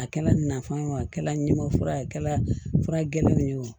A kɛla nafan ye o a kɛla ɲimama fura ye a kɛra fura gɛlɛnw ye wa